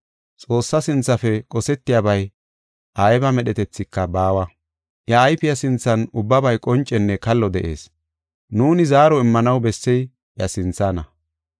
Xoossaa sinthafe qosetiyabay ayba medhetethika baawa. Iya ayfe sinthan ubbabay qoncenne kallo de7ees. Nuuni zaaro immanaw bessey iya sinthana.